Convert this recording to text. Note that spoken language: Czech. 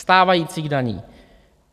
Stávajících daní!